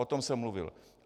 O tom jsem mluvil.